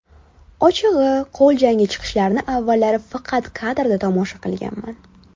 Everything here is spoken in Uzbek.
Ochig‘I, qo‘l jangi chiqishlarini avvallari faqat kadrda tomosha qilganman.